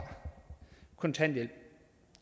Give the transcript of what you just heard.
kontanthjælp